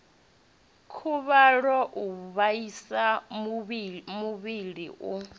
khuvhalo u vhaisa muvhili u